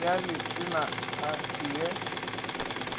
ya letena a se ye